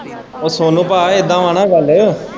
ਓ ਸੋਨੂੰ ਭਾਆ ਇੱਦਾ ਵਾਂ ਨਾ ਗੱਲ।